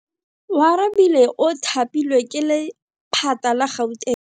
Oarabile o thapilwe ke lephata la Gauteng.